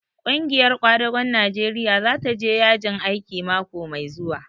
Ƙungiyar ƙwadagon Najeriya za ta je yajin aiki mako mai zuwa.